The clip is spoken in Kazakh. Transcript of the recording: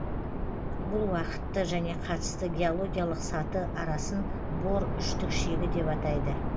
бұл уақытты және қатысты геологиялық саты арасын бор үштік шегі деп атайды